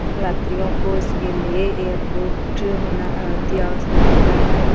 यात्रियों को इसके लिए एयरपोर्ट होना अति आवश्यकता है।